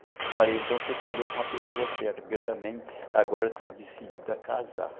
Eu falei, então você falou com a pessoa certa, porque eu também agora estou decidido a casar.